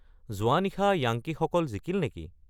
যোৱা নিশা য়াঙ্কিসকল জিকিল নেকি